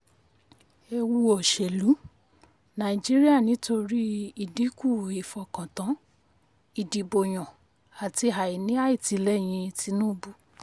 ewu òṣèlú nàìjíríà nítorí i ìdìnkú ìfọkàntàn ìdìbòyàn àti àìní àìtìlẹ́yìn Tinúubú.